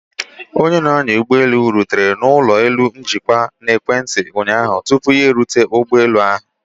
onye na-anya ụgbọ elu rutere n'ụlọ elu njikwa na ekwentị ụnyaahụ tupu ya erute ụgbọ elu ahụ